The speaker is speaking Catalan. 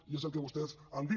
i és el que vostès han dit